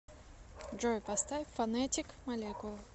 джой поставь фонетик молекулы